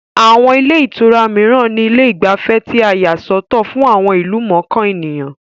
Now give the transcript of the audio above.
Àwọn ilé ìtura mìíran ní ilé ìgbafẹ́ tí a yà sọ́tọ̀ fún àwọn ìlú mọ̀ọ́kàn ènìyàn